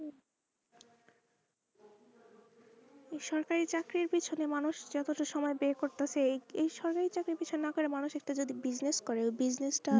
সরকারি চাকরির পিছনে মানুষ যতটা সময় বের করতে চাই এই সময় চাকরির পিছনে না ঘুরে মানুষ যদি একটা business করে business টা